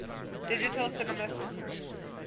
digital cinema systems